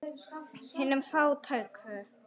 Hinum fátæku.